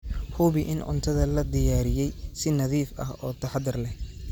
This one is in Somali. Hubi in cuntada loo diyaariyey si nadiif ah oo taxadar leh.